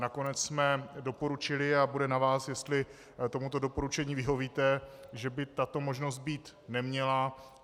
Nakonec jsme doporučili, a bude na vás, jestli tomuto doporučení vyhovíte, že by tato možnost být neměla.